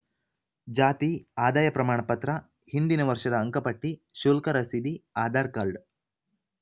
ಜಾತಿ ಆದಾಯ ಪ್ರಮಾಣಪತ್ರ ಹಿಂದಿನ ವರ್ಷದ ಅಂಕಪಟ್ಟಿ ಶುಲ್ಕ ರಸೀದಿ ಆಧಾರ್‌ಕಾರ್ಡ್‌